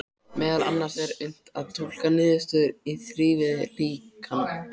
Meðal annars er unnt að túlka niðurstöðurnar í þrívíðu líkani.